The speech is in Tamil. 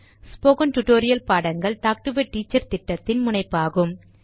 ஸ்போகன் டுடோரியல் பாடங்கள் டாக்டு எ டீச்சர் திட்டத்தின் முனைப்பாகும்